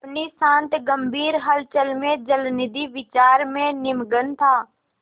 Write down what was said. अपनी शांत गंभीर हलचल में जलनिधि विचार में निमग्न था